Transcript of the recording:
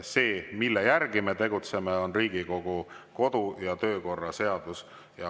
See, mille järgi me tegutseme, on Riigikogu kodu‑ ja töökorra seadus.